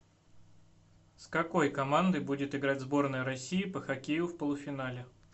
с какой командой будет играть сборная россии по хоккею в полуфинале